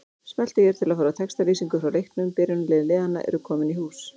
Smelltu hér til að fara í textalýsingu frá leiknum Byrjunarlið liðanna eru komin í hús.